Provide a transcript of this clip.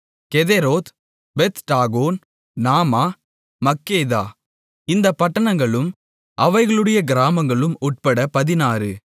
கெதெரோத் பெத்டாகோன் நாமா மக்கெதா இந்தப் பட்டணங்களும் அவைகளுடைய கிராமங்களும் உட்பட பதினாறு